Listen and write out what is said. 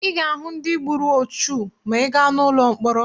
Ị ga-ahụ ndị gburu ọchụ ma ị gaa n'ụlọ mkpọrọ.